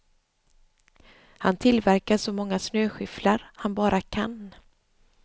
Han tillverkar så många snöskyfflar han bara kan.